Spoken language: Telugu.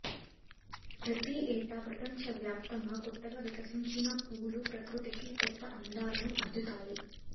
ప్రతి ఏటా ప్రపంచ వ్యాప్తంగా కొత్తగా వికసించిన పూలు ప్రకృతికి కొత్త అందాలను అద్దుతాయి